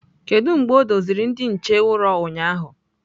Kedu mgbe o doziri ndị nche ụrọ ụnyahụ?